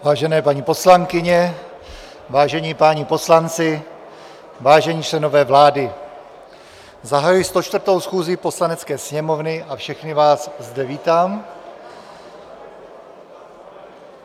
Vážené paní poslankyně, vážení páni poslanci, vážení členové vlády, zahajuji 104. schůzi Poslanecké sněmovny a všechny vás zde vítám.